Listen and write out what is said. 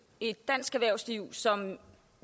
et dansk erhvervsliv som